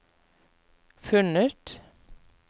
funnet